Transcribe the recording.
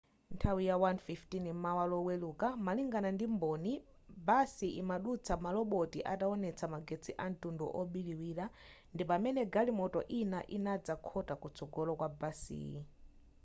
nthawi ya 1:15 m'mawa loweluka malingana ndi mboni basi imadutsa maloboti ataonetsa magetsi amtundu obiriwira ndi pamene galimoto ina inadzakhota kutsogola kwa basiyi